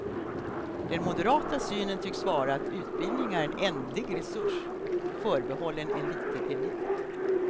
Den moderata synen tycks vara att utbildning är en ändlig resurs, förbehållen en liten elit.